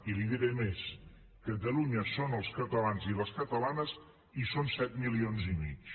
i li diré més catalunya són els catalans i les catalanes i són set milions i mig